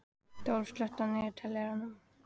Rolf, slökktu á niðurteljaranum.